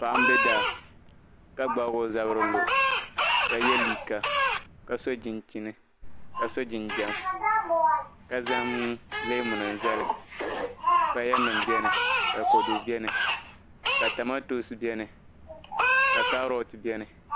Paɣa n be daa, ka gbaagi o zabiri n lɔ ka ye liiga ka so chinchini, kaso jinjam la zaŋ leemunim maali, paya nim beni, ka kodu beni katomantonsi beni. ka karoad beni